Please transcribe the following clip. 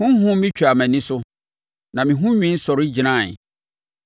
Honhom bi twaa mʼani so, na me ho nwi sɔre gyinaeɛ.